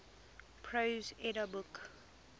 prose edda book